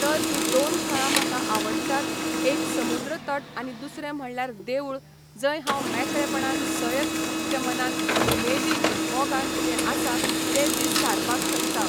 तर ही दोन थळां म्हाका आवडटात एक समुद्र तट आनी दुसरें म्हणल्यार देवूळ जंय हांव मेकळेपणान सयत उकत्या मनान उमेदीन मोगान जे आसा ते दीस सारपाक शकता